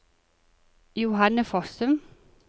Johanne Fossum